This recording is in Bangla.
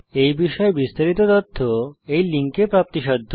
এই বিষয়ে বিস্তারিত তথ্য এই লিঙ্কে প্রাপ্তিসাধ্য